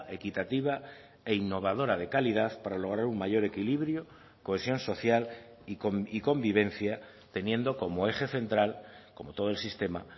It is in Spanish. equitativa e innovadora de calidad para lograr un mayor equilibrio cohesión social y convivencia teniendo como eje central como todo el sistema